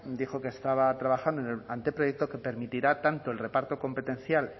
dijo que estaba trabajando en el anteproyecto que permitirá tanto el reparto competencial